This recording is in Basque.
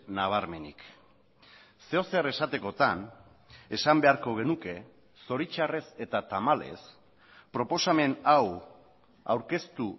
nabarmenik zeozer esatekotan esan beharko genuke zoritxarrez eta tamalez proposamen hau aurkeztu